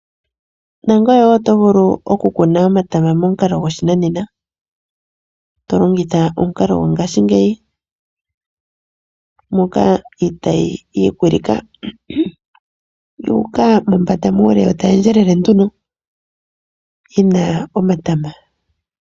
Nangoye wo oto vulu okukuna omatama momukalo goshinanena to longitha omukalo gongaashingeyi moka itayi yi ikwilika yu uka mombanda muule yo tayi endjelela nduno yi na omatama.